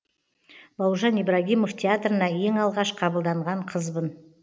бауыржан ибрагимов театрына ең алғаш қабылданған қызбын